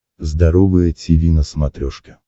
здоровое тиви на смотрешке